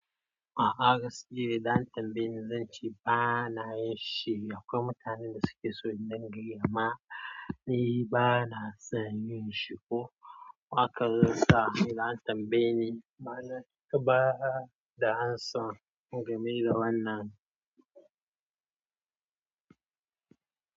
A'a gaskiya zan tambaye ni zan ce ba na yin shi. Akwai mutanen da suke so in dingin giya ma, ni ba na son yin shi. Ko haka zan sa idan an tambaye ni bana, kaba da an so in gamai da wannan.